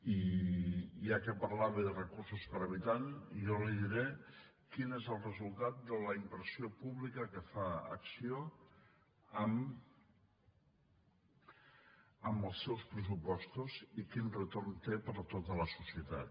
i ja que parlava de recursos per habitant jo li diré quin és el resultat de la inversió pública que fa acció amb els seus pressupostos i quin retorn té per a tota la societat